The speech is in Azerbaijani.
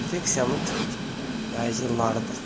İnfeksiyanın tipik yayıcılarıdır.